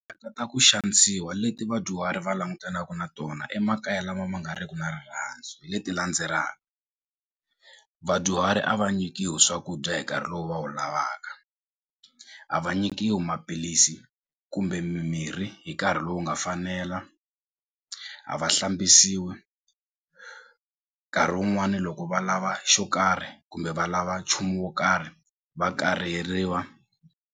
ku xanisiwa leti vadyuhari va langutanaku na tona emakaya lama ma nga riku na rirhandzu hi leti vadyuhari a va nyikiwi swakudya hi nkarhi lowu va wu lavaka a va nyikiwi maphilisi kumbe mimirhi hi nkarhi lowu nga fanela a va hlambisiwi nkarhi wun'wani loko va lava xo karhi kumbe va lava nchumu wo karhi va kariheriwa.